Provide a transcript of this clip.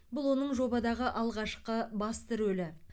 бұл оның жобадағы алғашқы басты рөлі